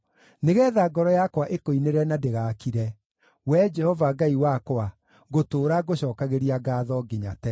nĩgeetha ngoro yakwa ĩkũinĩre na ndĩgakire. Wee Jehova Ngai wakwa, ngũtũũra ngũcookagĩria ngaatho nginya tene.